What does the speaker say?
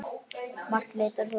Margt leitar á hugann.